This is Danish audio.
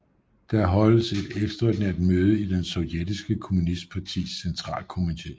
Der holdes et ekstraordinært møde i det sovjetiske kommunistpartis centralkomite